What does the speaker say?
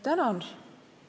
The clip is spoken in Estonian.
Tänan!